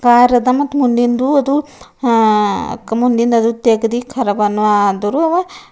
ಕಾರದ ಮತ್ತು ಮುಂದಿಂದು ಅದು ಆ ಮುಂದಿನ್ದು ತೆಗದಿ ಕರವನು ಆದ್ರೂ ಅವ--